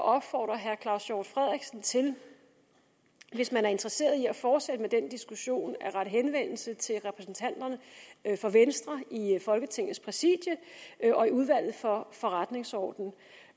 opfordre herre claus hjort frederiksen til hvis man er interesseret i at fortsætte med den diskussion at rette henvendelse til repræsentanterne for venstre i folketingets præsidium og i udvalget for forretningsordenen